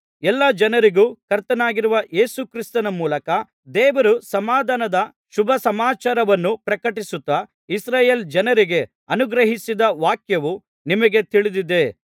ಎಲ್ಲಾ ಜನರಿಗೂ ಕರ್ತನಾಗಿರುವ ಯೇಸು ಕ್ರಿಸ್ತನ ಮೂಲಕ ದೇವರು ಸಮಾಧಾನದ ಶುಭಸಮಾಚಾರವನ್ನು ಪ್ರಕಟಿಸುತ್ತಾ ಇಸ್ರಾಯೇಲ್ ಜನರಿಗೆ ಅನುಗ್ರಹಿಸಿದ ವಾಕ್ಯವು ನಿಮಗೇ ತಿಳಿದಿದೆ